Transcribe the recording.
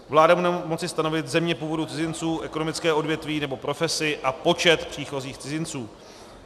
Vláda bude moci stanovit země původu cizinců, ekonomické odvětví nebo profesi a počet příchozích cizinců.